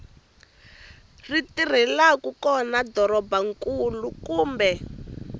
ri tirhelaku kona dorobankulu kumbe